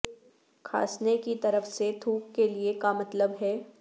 کھانسنے کی طرف سے تھوک کے لئے کا مطلب ہے